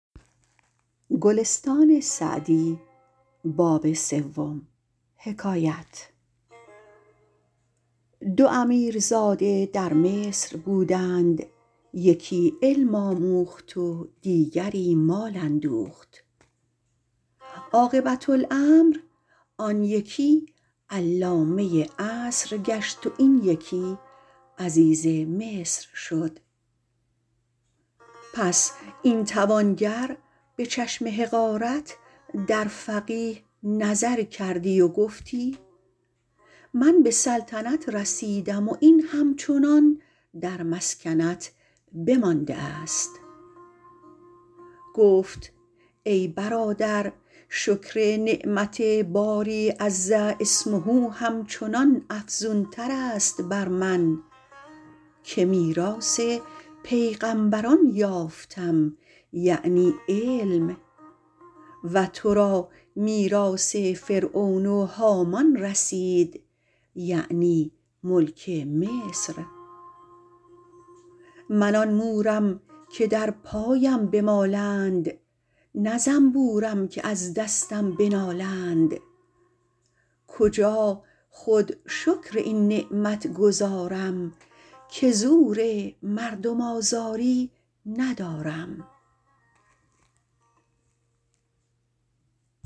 دو امیرزاده در مصر بودند یکی علم آموخت و دیگری مال اندوخت عاقبة الامر آن یکی علامه عصر گشت و این یکی عزیز مصر شد پس این توانگر به چشم حقارت در فقیه نظر کردی و گفتی من به سلطنت رسیدم و این همچنان در مسکنت بمانده است گفت ای برادر شکر نعمت باری عز اسمه همچنان افزون تر است بر من که میراث پیغمبران یافتم یعنی علم و تو را میراث فرعون و هامان رسید یعنی ملک مصر من آن مورم که در پایم بمالند نه زنبورم که از دستم بنالند کجا خود شکر این نعمت گزارم که زور مردم آزاری ندارم